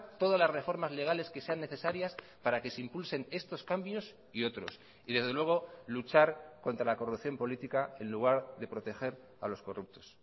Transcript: todas las reformas legales que sean necesarias para que se impulsen estos cambios y otros y desde luego luchar contra la corrupción política en lugar de proteger a los corruptos